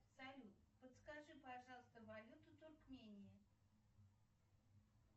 салют подскажи пожалуйста валюту туркмении